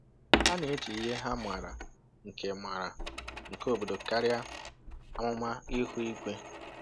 Ha na-eji ihe ha maara nke maara nke obodo karịa amụma ihu igwe.